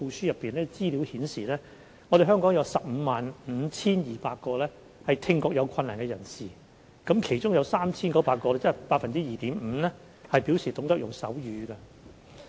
相關資料顯示，香港有 155,200 名聽覺有困難的人士，當中有 3,900 名，即大約 2.5% 表示懂得使用手語。